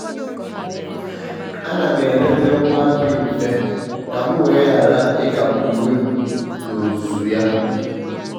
ọ́ nà-àhọ́rọ́ iyi ákwà dị mfe n’ógè ọkọchị màkà ụ́dị́ na nkasi obi.